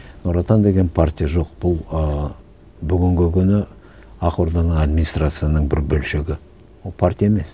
нұр отан деген партия жоқ бұл ыыы бүгінгі күні ақ орданың администрацияның бір бөлшегі ол партия емес